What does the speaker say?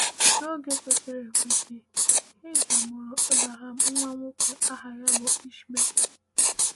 N’oge kwesịrị ekwesị, Hajar mụrụ Abraham nwa nwoke aha ya bụ Ishmael.